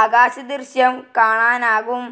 ആകാശദൃശ്യം കാണാനാകും.